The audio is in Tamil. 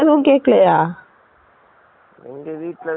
எங்க வீட்ல திட்டிடே தான் இருந்தாங்க